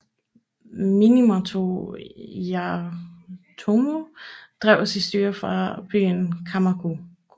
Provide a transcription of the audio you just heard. Minamoto Yoritomo drev sit styre fra byen Kamakura